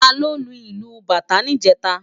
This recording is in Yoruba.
Táló ló lú ilú bátã nijètá?